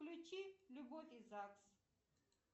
включи любовь и загс